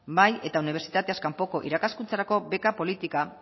bai eta unibertsitateaz kanpoko irakaskuntzarako beka politika